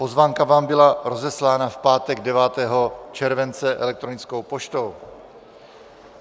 Pozvánka vám byla rozeslána v pátek 9. července elektronickou poštou.